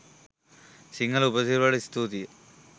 සිංහල උපසිරැසිවලට ස්තුතියි